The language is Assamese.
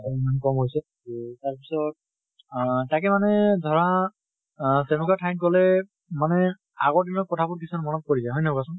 কম হৈছে। তʼ তাৰ পিছত আহ তাকে মানে ধৰা তেনুকা ঠাইত গলে মানে আগৰ দিনৰ কথা বোৰ কিছুমান মনত পৰি যায়, হয় নে নহয়, কোৱাচোন?